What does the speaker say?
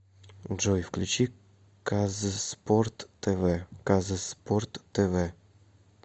джой включи казспорт тэ вэ казспорт тэ вэ